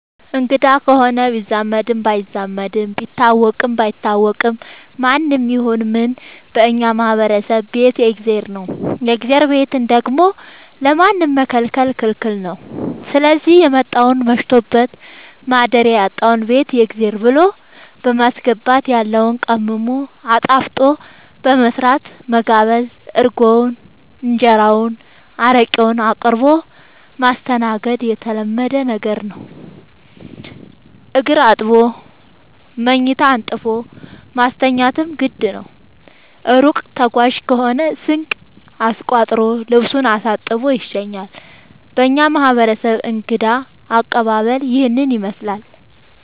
አንግዳ ከሆነ ቢዛመድም ባይዛመድም ቢታወቅም ባይታወቅም ማንም ይሁን ምንም በእኛ ማህበረሰብ ቤት የእግዜር ነው። የእግዜርን ቤት ደግሞ ለማንም መከልከል ክልክል ነው ስዚህ የመጣውን መሽቶበት ማደሪያ ያጣውን ቤት የእግዜር ብሎ በማስገባት ያለውን ቀምሞ አጣፍጦ በመስራት መጋበዝ እርጎውን እንጀራውን ጠላ አረቄውን አቅርቦ ማስተናገድ የተለመደ ነገር ነው። እግር አጥቦ መኝታ አንጥፎ ማስተኛትም ግድ ነው። እሩቅ ተጓዥ ከሆነ ስንቅ አስቋጥሮ ልሱን አሳጥቦ ይሸኛል። በእኛ ማህረሰብ እንግዳ አቀባሀል ይህንን ይመስላል።